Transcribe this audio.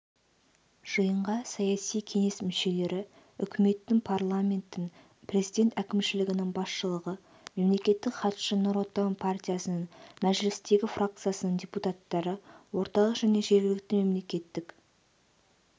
жиынға саяси кеңес мүшелері үкіметтің парламенттің президент әкімшілігінің басшылығы мемлекеттік хатшы нұр отан партиясының мәжілістегі фракциясының депутаттары орталық және жергілікті мемлекеттік